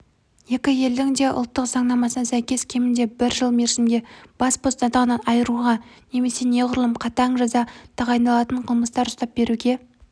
екі елдің де ұлттық заңнамасына сәйкес кемінде бір жыл мерзімге бас бостандығынан айыруға немесе неғұрлым қатаң жаза тағайындалатын қылмыстар ұстап беруге